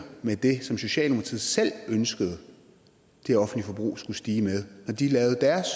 med det som socialdemokratiet selv ønskede det offentlige forbrug skulle stige med da de lavede deres